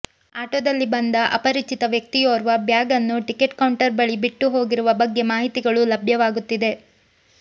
ಆಟೋದಲ್ಲಿ ಬಂದ ಅಪರಿಚಿತ ವ್ಯಕ್ತಿಯೋರ್ವ ಬ್ಯಾಗ್ ನ್ನು ಟಿಕೆಟ್ ಕೌಂಟರ್ ಬಳಿ ಬಿಟ್ಟು ಹೋಗಿರುವ ಬಗ್ಗೆ ಮಾಹಿತಿಗಳೂ ಲಭ್ಯವಾಗುತ್ತಿದೆ